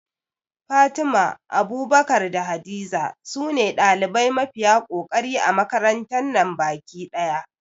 Fatima, Abubakar da Hadiza sune ɗalibai mafiya kokari a makarantar nan baki ɗaya